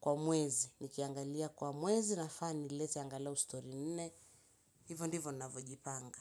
kwa mwezi, nikiangalia kwa mwezi nafaa nilete angalau story nne, hivo ndivyo ninavyojipanga.